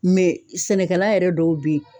sɛnɛkɛla yɛrɛ dɔw bɛ ye.